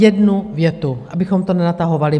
Jednu větu, abychom to nenatahovali.